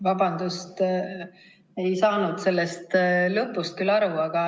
Vabandust, ma ei saanud sellest lõpust aru.